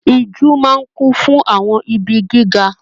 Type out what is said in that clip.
Ijù máa n kún fún àwọn igi gíga.